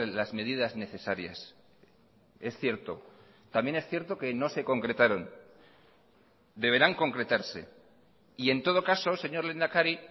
las medidas necesarias es cierto también es cierto que no se concretaron deberán concretarse y en todo caso señor lehendakari